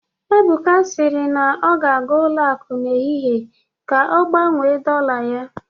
Ebuka sịrị na ọ ga-aga ụlọ akụ n'ehihie ka ọ gbanwee dollar ya